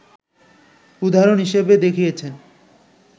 উদাহরণ হিসেবে দেখিয়েছেন